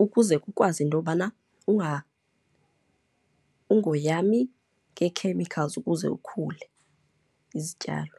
ukuze kukwazi into yobana ungoyami ngee-chemicals ukuze ukhule izityalo.